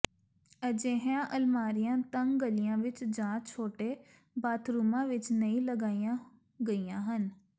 ਅਜਿਹੀਆਂ ਅਲਮਾਰੀਆ ਤੰਗ ਗਲੀਆਂ ਵਿਚ ਜਾਂ ਛੋਟੇ ਬਾਥਰੂਮਾਂ ਵਿਚ ਨਹੀਂ ਲਗਾਈਆਂ ਗਈਆਂ ਹਨ